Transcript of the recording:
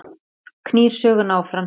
Það knýr söguna áfram